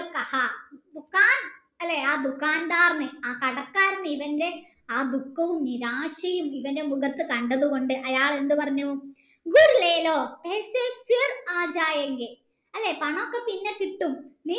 ആ കടക്കരാണ് ഇവൻ്റെ ആ ദുഃഖവും നിരാശയും ഇവൻ്റെ മുഖത്ത് കണ്ടത് കൊണ്ട് അയാൾ എന്ത് പറഞ്ഞു അല്ലെ പണോക്കെ പിന്നെ കിട്ടും നീ